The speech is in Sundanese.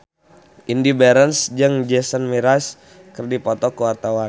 Indy Barens jeung Jason Mraz keur dipoto ku wartawan